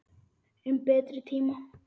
Um betri tíma.